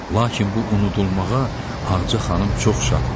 Lakin bu unudulmağa Ağca xanım çox şad idi.